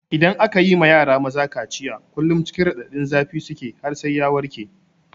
Idan aka yi ma yara maza kaciya kullum cikin raɗadin zafi suke har sai ya warke.